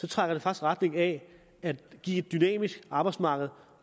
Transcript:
trækker i retning af at give et dynamisk arbejdsmarked